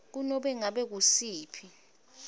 kunobe ngabe ngusiphi